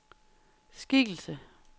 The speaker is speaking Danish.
skikkelse